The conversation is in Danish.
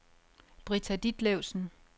Britta Ditlevsen